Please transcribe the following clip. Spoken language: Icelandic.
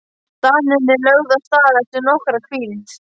Danirnir lögðu af stað eftir nokkra hvíld.